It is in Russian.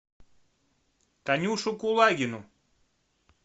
танюшу кулагину